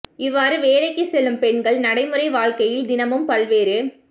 இவ்வாறு வேலைக்கு செல்லும் பெண்கள் நடைமுறை வாழ்க்கையில் தினமும் பல்வேறு